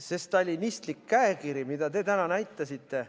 See stalinistlik käekiri, mida te täna näitasite ...